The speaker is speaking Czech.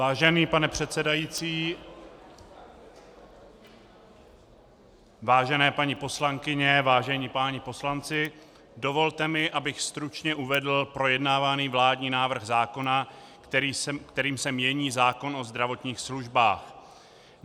Vážený pane předsedající, vážené paní poslankyně, vážení páni poslanci, dovolte mi, abych stručně uvedl projednávaný vládní návrh zákona, kterým se mění zákon o zdravotních službách.